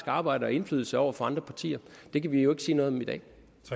arbejde og indflydelsen over for andre partier og det kan vi jo ikke sige noget om i dag